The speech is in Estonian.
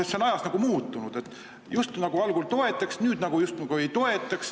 See on ajas muutunud: algul just nagu toetati, nüüd just nagu ei toetata.